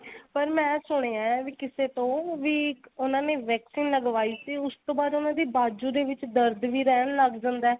ਪਰ ਮੈਂ ਸੁਣਿਆ ਵੀ ਕਿਸੇ ਤੋਂ ਵੀ ਉਨ੍ਹਾਂ ਨੇ vaccine ਲਗਵਾਈ ਸੀ ਉਸ ਤੋਂ ਬਾਅਦ ਉਨ੍ਹਾਂ ਦੇ ਬਾਜੂ ਦੇ ਵਿੱਚ ਦਰਦ ਵੀ ਰਹਿਣ ਲੱਗ ਜਾਂਦਾ